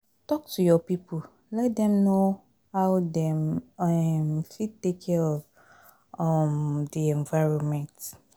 Talk to your pipo, let dem know how dem um fit take care for um di environment